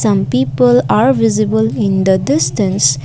some people are visible in the distance.